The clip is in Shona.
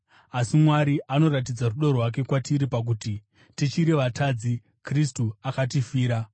Asi Mwari anoratidza rudo rwake kwatiri pakuti: Tichiri vatadzi, Kristu akatifira.